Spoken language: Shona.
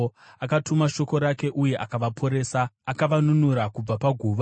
Akatuma shoko rake uye akavaporesa; akavanunura kubva paguva.